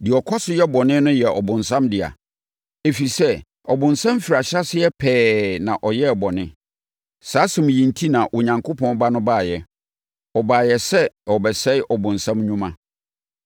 Deɛ ɔkɔ so yɛ bɔne no yɛ ɔbonsam dea, ɛfiri sɛ, ɔbonsam firi ahyɛaseɛ pɛɛ na ɔyɛɛ bɔne. Saa asɛm yi enti na Onyankopɔn Ba no baeɛ. Ɔbaeɛ sɛ ɔrebɛsɛe ɔbonsam nnwuma.